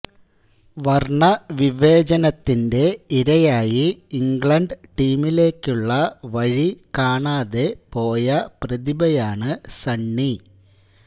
വര്ണ്ണ വിവേചനത്തിന്റെ ഇരയായി ഇംഗ്ലണ്ട് ടീമിലേക്കുള്ള വഴികാണാതെ പോയ പ്രതിഭയാണ് സണ്ണി